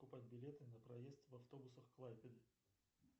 покупать билеты на проезд в автобусах клайпеды